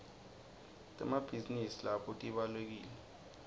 temabhizi nidi nato tibawlekile